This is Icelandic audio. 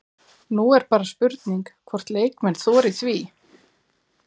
Nú er bara spurning hvort leikmenn þori því?